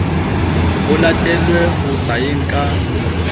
ho latelwe ho sayeng ka